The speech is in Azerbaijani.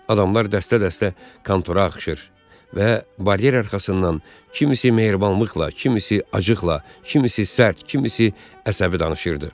Adamlar dəstə-dəstə kontora axışır və baryer arxasından kimisi mehribanlıqla, kimisi acıqla, kimisi sərt, kimisi əsəbi danışırdı.